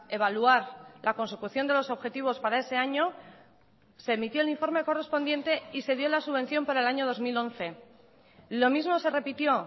evaluar la consecución de los objetivos para ese año se emitió el informe correspondiente y se dio la subvención para el año dos mil once lo mismo se repitió